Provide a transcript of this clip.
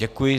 Děkuji.